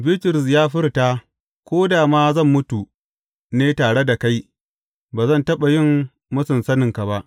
Bitrus ya furta, Ko da ma zan mutu ne tare da kai, ba zan taɓa yin mūsun saninka ba.